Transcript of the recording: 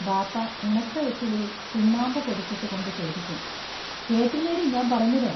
ബാപ്പാ ഉണക്ക വൈറ്റിലയിൽ ചുണ്ണാമ്പു പൊടിച്ചിട്ടു കൊണ്ടു ചോദിക്കും: കേട്ടില്ലേടീ ഞാമ്പറഞ്ഞത്?